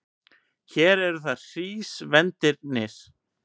Hér eru það hrísvendirnir.